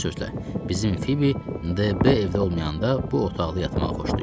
Bir sözlə, bizim Fibi DB evdə olmayanda bu otaqda yatmağı xoşlayır.